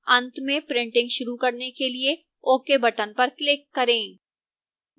अंत में printing शुरू करने के लिए ok button पर click करें